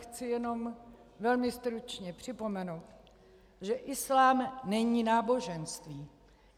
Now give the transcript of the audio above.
Chci jenom velmi stručně připomenout, že islám není náboženství.